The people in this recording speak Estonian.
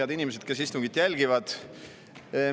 Head inimesed, kes istungit jälgivad!